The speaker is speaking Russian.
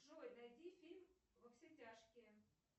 джой найди фильм во все тяжкие